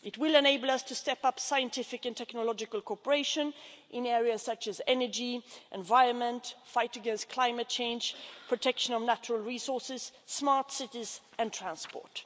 It will enable us to step up scientific and technological cooperation in areas such as energy, environment, the fight against climate change, protection of natural resources, smart cities and transport.